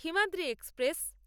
Simhadri express